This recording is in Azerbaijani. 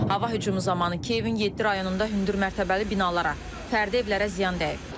Hava hücumu zamanı Kiyevin yeddi rayonunda hündürmərtəbəli binalara, fərdi evlərə ziyan dəyib.